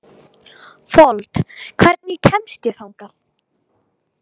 Fold, hvernig kemst ég þangað?